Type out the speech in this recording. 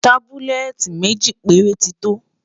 tábúlẹ́tì méjì péré tí tó